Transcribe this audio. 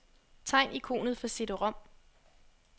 Tegn ikonet for cd-rom.